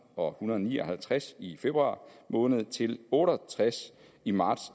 og hundrede og ni og halvtreds i februar måned til otte og tres i marts